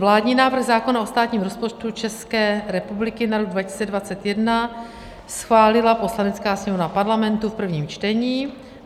Vládní návrh zákona o státním rozpočtu České republiky na rok 2021 schválila Poslanecké sněmovna Parlamentu v prvním čtení.